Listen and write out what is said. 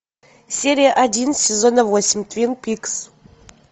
серия один сезона восемь твин пикс